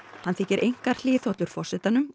hann þykir einkar hliðhollur forsetanum